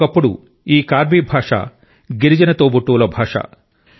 ఒకప్పుడు ఈ కార్బీ భాష గిరిజన తోబుట్టువుల భాష